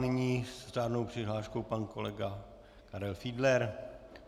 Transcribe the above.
Nyní s řádnou přihláškou pan kolega Karel Fiedler.